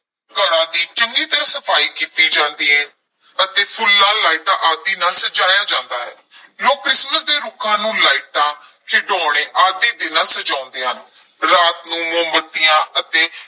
ਘਰਾਂ ਦੀ ਚੰਗੀ ਤਰ੍ਹਾਂ ਸਫ਼ਾਈ ਕੀਤੀ ਜਾਂਦੀ ਹੈ ਅਤੇ ਫੁੱਲਾਂ, ਲਾਈਟਾਂ ਆਦਿ ਨਾਲ ਸਜਾਇਆ ਜਾਂਦਾ ਹੈ ਲੋਕ ਕ੍ਰਿਸਮਸ ਦੇ ਰੁੱਖਾਂ ਨੂੰ ਲਾਈਟਾਂ, ਖਿਡੌਣੇ ਆਦਿ ਦੇ ਨਾਲ ਸਜਾਉਂਦੇ ਹਨ, ਰਾਤ ਨੂੰ ਮੋਮਬੱਤੀਆਂ ਅਤੇ